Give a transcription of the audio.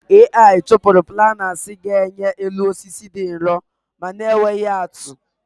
Ai chụpụrụ planers ga-enye elu osisi dị nrọ ma na-enweghi atụ